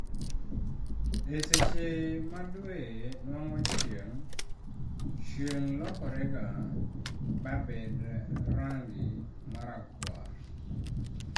e seche ma dwe nuang'o chieng', chieng' lokorega ba bed rangi marakuar